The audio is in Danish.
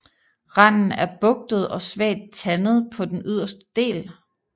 Randen er bugtet og svagt tandet på den yderste del